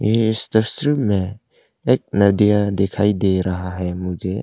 ये इस तस्वीर में एक नदिया दिखाई दे रहा है मुझे।